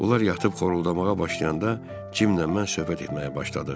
Onlar yatıb xoruldamağa başlayanda Cimlə mən söhbət etməyə başladıq.